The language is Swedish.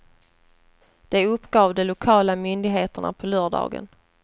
Det uppgav de lokala myndigheterna på lördagen.